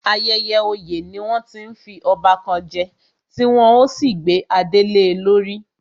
Ayẹyẹ oyè ni wọ́n ti ń fi ọba kan je, tí wọ́n ó sì gbé adé le lórí